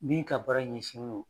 Min ka baara ɲɛsinnin no